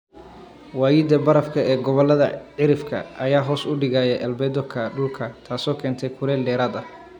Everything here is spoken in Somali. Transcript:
Waayida barafka ee gobollada cirifka ayaa hoos u dhigaya albedo-ga dhulka, taasoo keenta kulayl dheeraad ah.